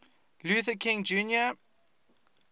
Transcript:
luther king jr